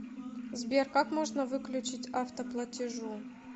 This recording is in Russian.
сбер как можно выключить автоплатежу